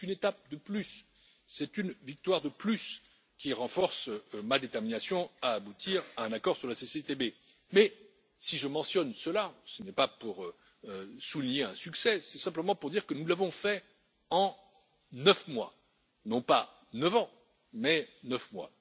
C'est une étape de plus, c'est une victoire de plus qui renforce ma détermination à aboutir à un accord sur l'ACCIS, mais si je mentionne cela ce n'est pas pour souligner un succès, c'est simplement pour dire que nous l'avons fait en neuf mois, non pas neuf ans, mais neuf mois.